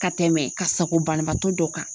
Ka tɛmɛ ka sago banabaatɔ dɔ kan